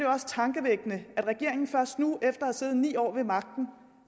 også tankevækkende at regeringen først nu efter at have siddet ni år ved magten